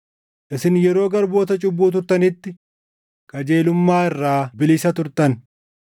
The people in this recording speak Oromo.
Isin yeroo garboota cubbuu turtanitti, qajeelummaa irraa bilisa turtan.